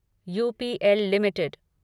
UPL limited